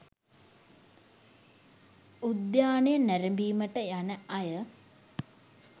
උද්‍යානය නැරඹීමට යන අය